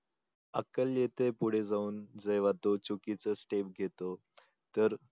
अक्कल येते पुढे जाऊन जेव्हा तो चुकीचं step घेतो तर